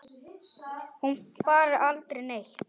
Hún fari aldrei neitt.